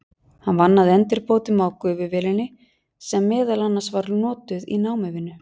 Hann vann að endurbótum á gufuvélinni sem meðal annars var notuð í námuvinnu.